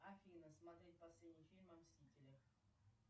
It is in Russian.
афина смотреть последний фильм о мстителях